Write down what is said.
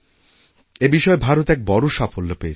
এই বিষয়েভারত এক বড় সাফল্য পেয়েছে